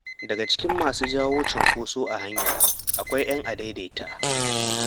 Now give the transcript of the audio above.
Daga cikin masu jawo cunkoso a hanya akwai 'yan adaidaita.